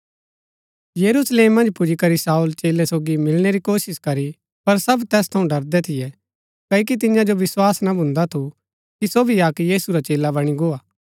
यरूशलेम मन्ज पुजीकरी शाऊल चेलै सोगी मिलणै रै कोशिश करी पर सब तैस थऊँ डरदै थियै क्ओकि तियां जो विस्वास ना भून्दा थू कि सो भी अक्क यीशु रा चेला बणी गो हा